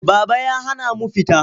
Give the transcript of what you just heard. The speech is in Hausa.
Baba ya hana mu fita.